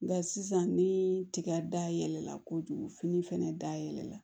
Nka sisan ni tiga da yɛlɛla kojugu fini fɛnɛ da yɛlɛ la